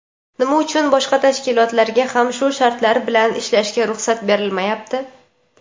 Nima uchun boshqa tashkilotlarga ham shu shartlar bilan ishlashga ruxsat berilmayapti?.